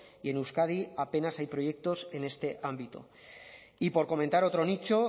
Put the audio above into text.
y en euskadi apenas hay proyectos en este ámbito y por comentar otro nicho